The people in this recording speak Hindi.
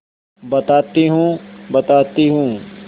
बताती हूँ बताती हूँ